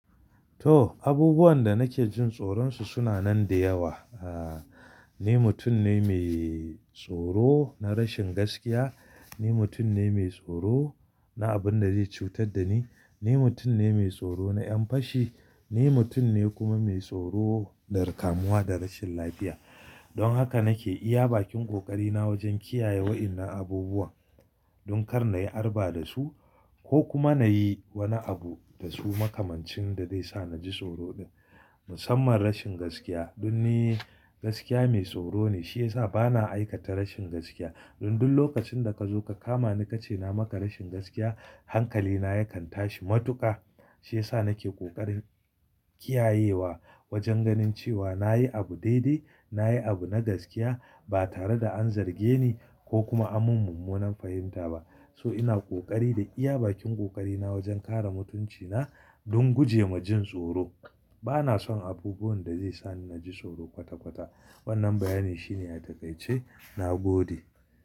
To, abubuwan da nake jin tsoronsu suna nan da yawa. Aaa, ni mutum ne mai tsoro na rashin gaskiya. Ni mutum ne mai tsoro na abun da zai cutar da ni. Ni mutum ne mai tsoro na ƴan fashi. Ni mutum ne kuma mai tsoro na dakamuwa da rashin lafiya. Don haka nake iya bakin ƙoƙari na wajen kiyaye wa'innan abubuwan, don kar nayi arba da su ko kuma nayi wani abu da su makamancin da zai sa naji tsoro din. Musamman rashin gaskiya don ni gaskiya mai tsoro ne, shi yasa bana aikata rashin gaskiya. Don duk lokacin da kazo ka kama ni kace na maka rashin gaskiya, hankali na yakan tashi matuƙa. Shi yasa nake ƙoƙarin kiyayewa wajen ganin cewa nayi abu daidai, nayi abu na gaskiya ba tare da an zarge ni ko kuma amman mummunan fahimta ba. So ina kokari da iya bakin ƙoƙari na wajen kare mutunci na don guje ma jin tsoro. Bana son abubuwan da zai sa ni naji tsoro kwata-kwata. Wannan bayani shine ya takaitace na gode.